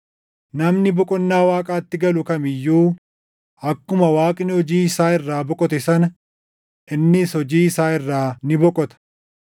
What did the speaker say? namni boqonnaa Waaqaatti galu kam iyyuu akkuma Waaqni hojii isaa irraa boqote sana, innis hojii isaa irraa ni boqota. + dup 4:10 \+xt Uma 2:2\+xt*